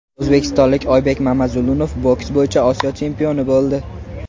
O‘zbekistonlik Oybek Mamazulunov boks bo‘yicha Osiyo chempioni bo‘ldi.